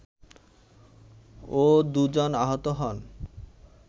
ও দুজন আহত হন